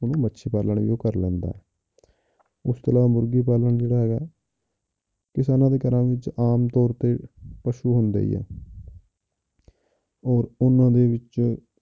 ਤੇ ਮੱਛੀ ਪਾਲਣ ਵੀ ਉਹ ਕਰ ਲੈਂਦਾ ਹੈ ਇਸ ਤੋਂ ਇਲਾਵਾ ਮੁਰਗੀ ਪਾਲਣ ਜਿਹੜਾ ਹੈਗਾ ਕਿਸਾਨਾਂ ਦੇ ਘਰਾਂ ਵਿੱਚ ਆਮ ਤੌਰ ਤੇ ਪਸੂ ਹੁੰਦੇ ਹੀ ਹੈ ਔਰ ਉਹਨਾਂ ਦੇ ਵਿੱਚ